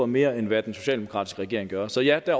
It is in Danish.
mere end hvad den socialdemokratiske regering gør så ja